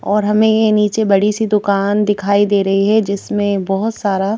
और हमें ये नीचे बड़ी सी दुकान दिखाई दे रही है जिसमें बहुत सारा--